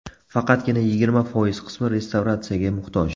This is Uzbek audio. Faqatgina yigirma foiz qismi restavratsiyaga muhtoj.